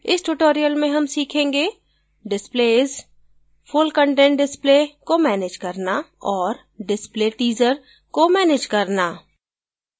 इस tutorial में हम सीखेंगे displaysfull content display को मैनेज करना और डिस्प्ले teaser को मैनेज करना